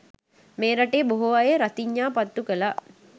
මේ රටේ බොහෝ අය රතිඤ්ඤා පත්තු කළා.